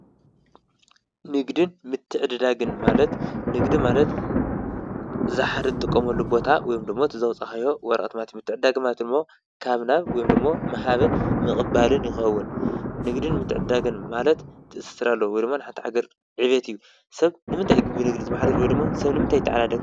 ንግድን ምትዕድዳግን ማለት ንግዲ ማለት ዝወሓደ ትጥቀመሉ ቦታ ወይ ድማ ትዝውፃካዮ ወረቀት ማለት ካብ ናብ ምሃብን ምቕባልን ይኸዉን፡፡ ንግድን ምትዕድዳግን ማለት ትእስስር አለዎ ንሓንቲ ሃገር ዕብየት እዩ፡፡ ሰብ ንምንታይ እዩ ብንግዲ ዝምሓደር ወይ ደሞ ሰበ ይታዓዳድግ?